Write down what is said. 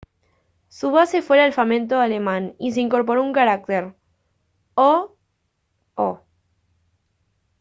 su base fue el alfabeto alemán y se incorporó un carácter: «õ/ õ»